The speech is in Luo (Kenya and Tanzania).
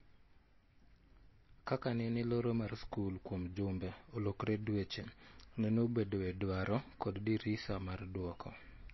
Ka nene loro mar skul kuom jumbe olokre dweche, nene obedoe dwaro kod dirisa mar dwoko